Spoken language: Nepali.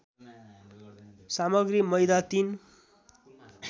सामग्री मैदा ३